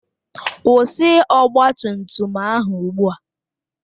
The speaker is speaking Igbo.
Kwụsị ọgba tum tum ahụ ugbu a!